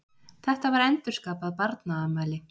Þetta var endurskapað barnaafmæli.